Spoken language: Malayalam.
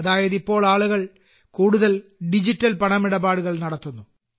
അതായത് ഇപ്പോൾ ആളുകൾ കൂടുതൽ കൂടുതൽ ഡിജിറ്റൽ പണമിടപാടുകൾ നടത്തുന്നു